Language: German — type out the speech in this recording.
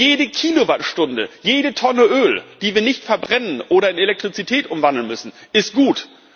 Jede Kilowattstunde, jede Tonne Öl, die wir nicht verbrennen oder in Elektrizität umwandeln müssen, ist gut.